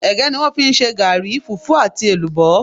Ègé ni wón fi n se gaàri, fùfú àti èlùbó